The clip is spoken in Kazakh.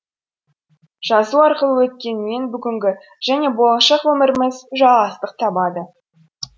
жазу арқылы өткен мен бүгінгі және болашақ өміріміз жалғастық табады